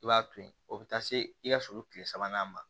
I b'a to ye o bɛ taa se i ka sulu tile sabanan ma